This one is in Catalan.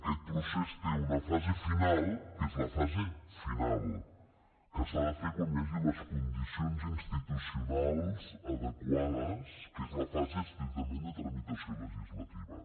aquest procés té una fase final que és la fase final que s’ha de fer quan hi hagi les condicions institucionals adequades que és la fase estrictament de tramitació legislativa